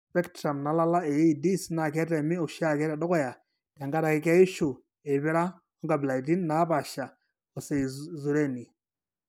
Ore espectrum nalala AEDs naa ketemi oshiake tedukuya tenkaraki keishu eipira oonkabilaitin naapaasha ooseizureni.